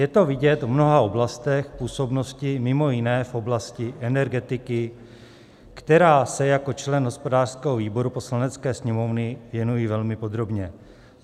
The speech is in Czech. Je to vidět v mnoha oblastech působnosti, mimo jiné v oblasti energetiky, které se jako člen hospodářského výboru Poslanecké sněmovny věnuji velmi podrobně.